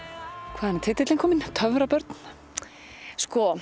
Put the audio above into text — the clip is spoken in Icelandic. hvaðan er titillinn kominn